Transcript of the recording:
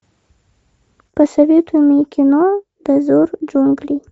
посоветуй мне кино дозор джунглей